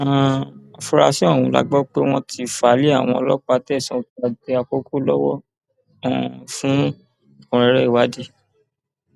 um afuarasí ọhún la gbọ pé wọn ti fà lé àwọn ọlọpàá tẹsán ọkèàgbẹ àkọkọ lọwọ um fún ẹkúnrẹrẹ ìwádìí